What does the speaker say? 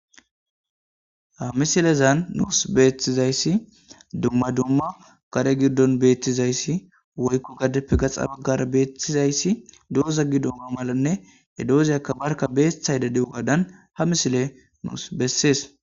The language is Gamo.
Ha misilezan nuus beetizayssi dumma dumma kare giddon beettizayssi woykku gaddeppe gaxa baggar beettizayssi dooza gi dumma malanne he doozeyakka barka beeththayda di'u gadan ha misile nuus bessees